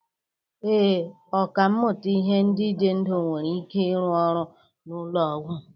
Ee, ọkà mmụta ihe ndị dị ndụ nwere ike ịrụ ọrụ n'ụlọ ọgwụ.